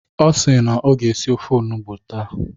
Ọ si na ọ ga-esi ofe onugbo taa.